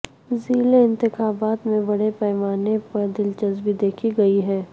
ضلعی انتخابات میں بڑے پیمانے پر دلچسپی دیکھی گئی ہے